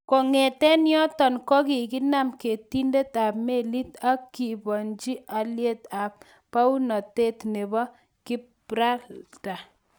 Kong'eten yoton kogikinam ketindet ab melit ak keliponchi alyet ak bounotet nebo Gibralter.